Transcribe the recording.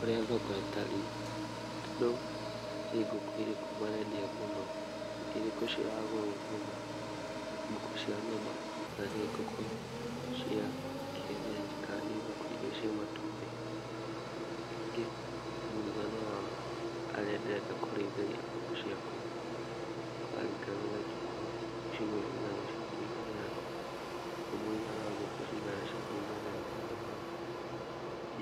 Ũria thoko ĩtariĩ, andũ nĩ ngũkũ irĩkũ marendia mũno, nĩ irĩkũ ciragũrwo mũno ngũkũ cia nyama kana nĩ ngũkũ cia kienyenji kana nĩ ngũkũ iria cia matumbĩ, ningĩ mũigana wa harĩa ndirenda kũrĩithĩria ngũkũ ciakwa. Kũraringana na kiũgũ, nĩ ciũgũ cigana cingĩiganĩra na nĩ mũigana wa ngũkũ cigana cingĩiganĩra handũ hau,